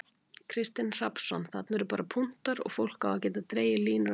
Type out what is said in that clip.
Kristinn Hrafnsson: Þarna eru bara punktar og fólk á að geta dregið línur á milli?